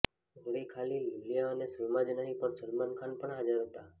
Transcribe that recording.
વળી ખાલી લૂલિયા અને સલમા જ નહીં પણ સલમાન ખાન પણ હાજર હતા